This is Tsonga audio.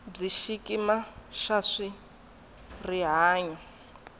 bya xikimi xa swa rihanyo